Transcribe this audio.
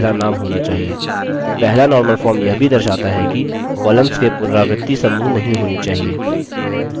पहला normal form यह भी दर्शाता है कि columns के पुनरावृत्ति समूह नहीं होने चाहिए